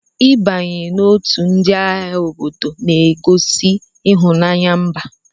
I banye n'otu ndị agha obodo na-egosi ịhụnanya mba.